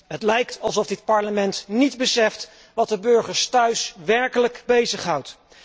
Het lijkt alsof dit Parlement niet beseft wat de burgers thuis werkelijk bezighoudt.